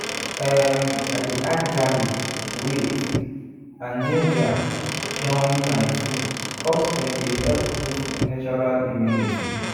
em i dey add garlic wait and ginger join my food cause dem dey help boost natural immunity